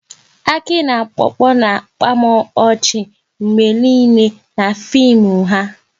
Aki na Popo na-akpa m ọchị mgbe nile n'fim ha